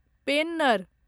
Penner